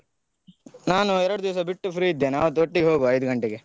ನಾನು ಎರಡು ದಿವ್ಸ ಬಿಟ್ಟು free ಇದ್ದೇನೆ ಆವತ್ತು ಒಟ್ಟಿಗೆ ಐದು ಗಂಟೆಗೆ.